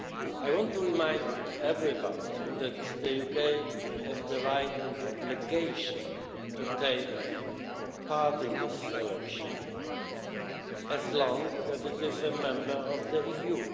I want to remind everybody that the UK has the right and obligation to take part in this election as long as it is a member of the EU.